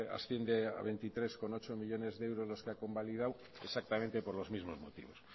asciende a veintitrés coma ocho millónes de euros los que ha convalidado exactamente por los mismos motivos